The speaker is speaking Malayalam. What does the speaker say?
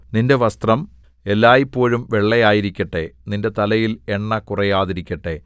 നിന്റെ വസ്ത്രം എല്ലായ്പോഴും വെള്ളയായിരിക്കട്ടെ നിന്റെ തലയിൽ എണ്ണ കുറയാതിരിക്കട്ടെ